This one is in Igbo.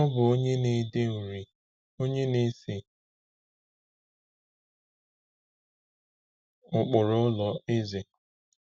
Ọ bụ onye na-ede uri, onye na-ese ụkpụrụ ụlọ, eze.